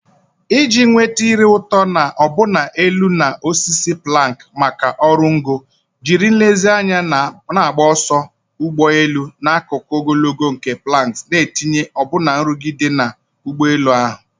Iji nweta a ire ụtọ na ọbụna elu na osisi planks maka oru ngo, jiri nlezianya na-agba ọsọ ụgbọ elu n'akụkụ ogologo nke planks, n'itinye ọbụna nrụgide na ụgbọelu ahụ.